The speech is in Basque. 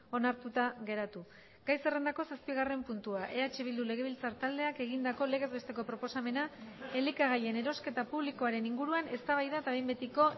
onartuta geratu gai zerrendako zazpigarren puntua eh bildu legebiltzar taldeak egindako legez besteko proposamena elikagaien erosketa publikoaren inguruan eztabaida eta behin betiko